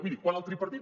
miri quan el tripartit